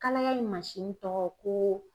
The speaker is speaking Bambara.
Kalaya in tɔgɔ ko